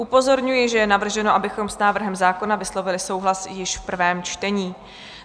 Upozorňuji, že je navrženo, abychom s návrhem zákona vyslovili souhlas již v prvém čtení.